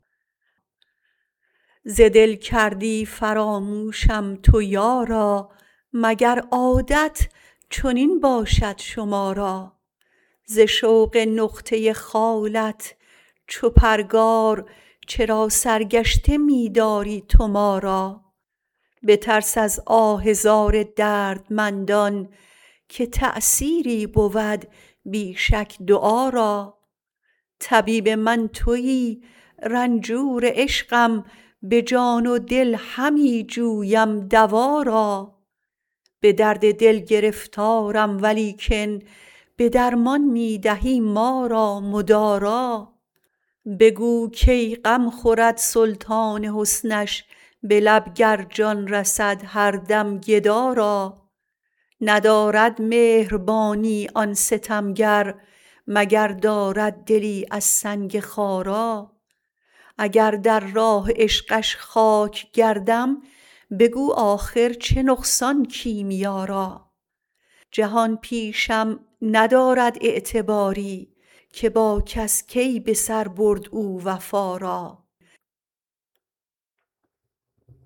ز دل کردی فراموشم تو یارا مگر عادت چنین باشد شما را ز شوق نقطه خالت چو پرگار چرا سرگشته می داری تو ما را بترس از آه زار دردمندان که تأثیری بود بی شک دعا را طبیب من تویی رنجور عشقم به جان و دل همی جویم دوا را به درد دل گرفتارم ولیکن به درمان می دهی ما را مدارا بگو کی غم خورد سلطان حسنش به لب گر جان رسد هر دم گدا را ندارد مهربانی آن ستمگر مگر دارد دلی از سنگ خارا اگر در راه عشقش خاک گردم بگو آخر چه نقصان کیمیا را جهان پیشم ندارد اعتباری که با کس کی به سر برد او وفا را